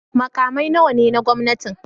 Makamai nawa ne na gwamnati?